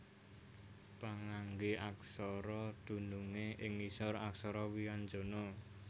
Pangangge aksara dunungé ing ngisor aksara wianjana